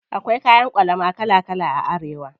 Akwai kayan ƙwalama kala kala a Arewa.